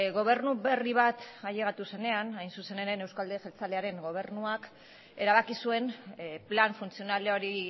gobernu berri bat ailegatu zenean hain zuzen ere euskal alderdi jeltzalearen gobernuak erabaki zuen plan funtzional hori